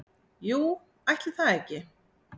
Jú, ætli það ekki